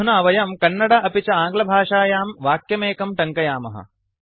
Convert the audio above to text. अधुना वयं कन्नड अपि च आङ्ग्लभाषायां वाक्यमेकं टङ्कयामः